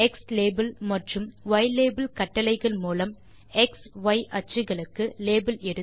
xlabel மற்றும் ylabel கட்டளைகள் மூலம் எக்ஸ் ய் அச்சுக்களுக்கு லேபல் இடுதல்